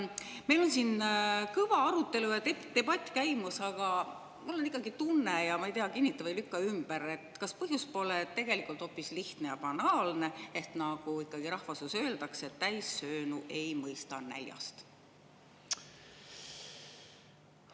Meil on siin kõva arutelu ja debatt käimas, aga mul on ikkagi tunne, ja ma ei tea, kinnita või lükka ümber: kas põhjus pole tegelikult hoopis lihtne ja banaalne, ehk nagu ikkagi rahvasuus öeldakse, täissöönud ei mõista näljast?